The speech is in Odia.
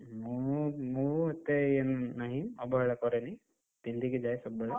ମୁଁ ମୁଁ ଏତେ ଇଏ ନାହିଁ ଅବହେଳା କରେନି, ପିନ୍ଧିକି ଯାଏ ସବୁବେଳେ।